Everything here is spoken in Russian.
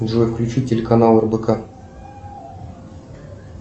джой включи телеканал рбк